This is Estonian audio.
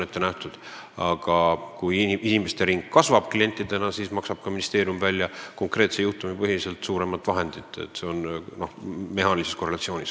Kui klientide hulk kasvab, siis maksab ministeerium välja ka konkreetsete juhtumite põhiselt rohkem raha, see on mehaanilises korrelatsioonis.